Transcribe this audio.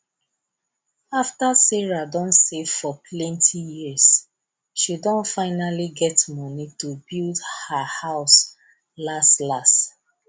afta sarah don save for plenti years she don finally get money to build her house las las